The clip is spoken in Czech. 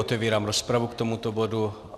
Otevírám rozpravu k tomuto bodu.